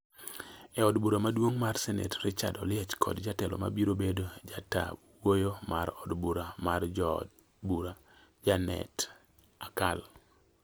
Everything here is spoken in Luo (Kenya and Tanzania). e Od Bura maduong' mar Senet Richard Oliech kod jatelo mabiro bedo jata wuoyo mar od bura mar jo od bura, Janet Akal